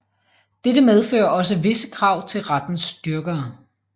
Dette medfører også visse krav til rettens dyrkere